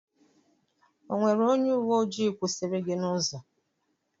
O nwere onye uwe ojii kwụsịrị gị n'ụzọ.